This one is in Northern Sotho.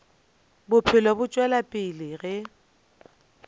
bophelo bo tšwela pele ge